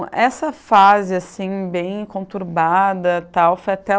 Essa fase assim bem conturbada tal, foi até o